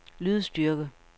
lydstyrke